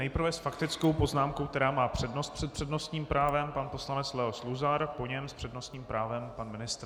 Nejprve s faktickou poznámkou, která má přednost před přednostním právem, pan poslanec Leo Luzar, po něm s přednostním právem pan ministr.